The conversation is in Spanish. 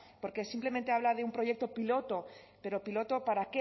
porque simplemente habla de un proyecto piloto pero piloto para